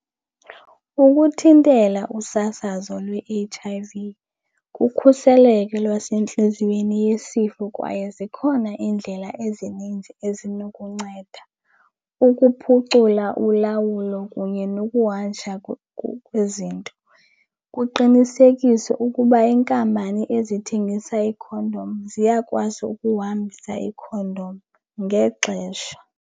Ukuthintela usasazo lwe-H_I_V kukhuseleko lwasentliziyweni yesifo kwaye zikhona iindlela ezininzi ezinokunceda ukuphucula ulawulo kunye nokuhanjwa kwezinto. Kuqinisekiswe ukuba iinkampani ezithengisa iikhondom ziyakwazi ukuhambisa iikhondom ngexesha.